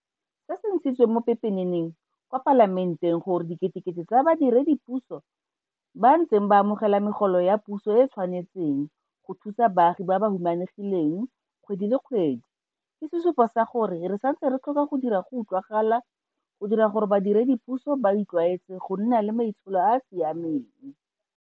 Se se ntshitsweng mo pepeneneng kwa Palamenteng gore diketekete tsa badiredipuso ba ntse ba amogela megolo ya puso e e tshwanetseng go thusa baagi ba ba humanegileng kgwedi le kgwedi ke sesupo sa gore re santse re tlhoka go dira go utlwagala go dira gore badiredipuso ba itlwaetse go nna le maitsholo a a si ameng.